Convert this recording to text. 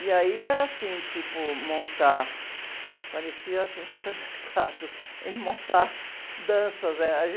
E aí era assim, tipo, montar... Parecia, assim, supermercado, em montar danças, eh...